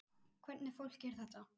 Hvernig fólk er þetta?